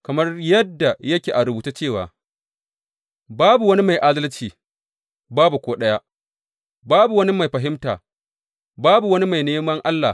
Kamar yadda yake a rubuce cewa, Babu wani mai adalci, babu ko ɗaya; babu wani mai fahimta, babu wani mai neman Allah.